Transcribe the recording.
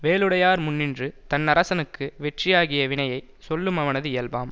வேலுடையார் முன்னின்று தன்னரசனுக்கு வெற்றியாகிய வினையை சொல்லுமவனது இயல்பாம்